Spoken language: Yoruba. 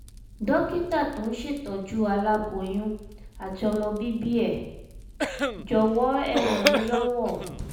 dókítà tó ń ṣètọ́jú aláboyún àti ọmọ bíbí ẹ jọ̀wọ́ ẹ ràn mí lọ́wọ́